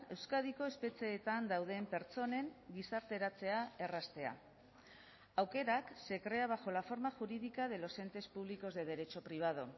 euskadiko espetxeetan dauden pertsonen gizarteratzea erraztea aukerak se crea bajo la forma jurídica de los entes públicos de derecho privado